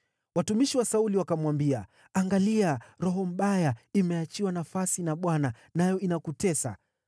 Watumishi wa Sauli wakamwambia, “Angalia, roho mbaya imeachiwa nafasi na Bwana nayo inakutesa.